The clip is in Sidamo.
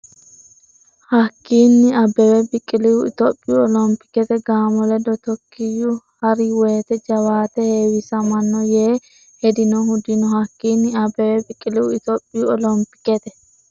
Hakkiinni Abbebe Biqilihu Itophiyu olompikete gaamo ledo Tookkiyo ha’ri wote jawaate heewisamanno yee hedinohu dino Hakkiinni Abbebe Biqilihu Itophiyu olompikete.